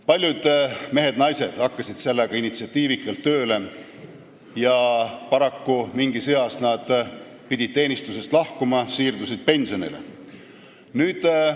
Paljud mehed-naised hakkasid selle kallal initsiatiivikalt tööle, aga mingis eas pidid nad teenistusest lahkuma ja pensionile minema.